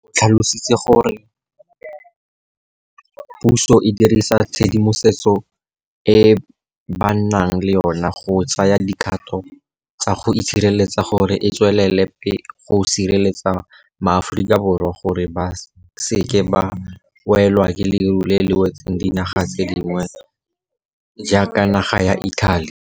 O tlhalositse gape gore puso e dirisa tshedimosetso e ba nang le yona go tsaya dikgato tsa go itshireletsa gore e tswelele go sireletsa maAforika Borwa gore ba se ke ba welwa ke leru le le wetseng dinaga tse dingwe tse di jaaka naga ya Italy.